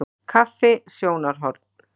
Kaffi- sjónarhorn.